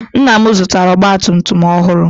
Nna m zụtara ọgba tum tum ọhụrụ.